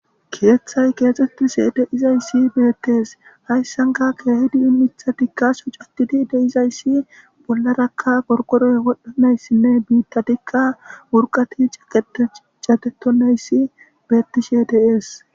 Keeththay keexetti se de7izayssi beettees hayssanka keehidi imithadikka sucatidi de izayssi bollarakka gorqoroy wodhdhoneyssinne biittadikka murqati catettoneyssi bettishe de7ees.